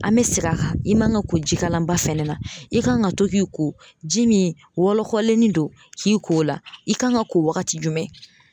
An mɛ segin a kan i man ka ko jikalanba fɛnɛ na i kan ka to k'i ko ji min wɔlɔkɔlennin do k'i ko o la i kan ka ko wagati jumɛn?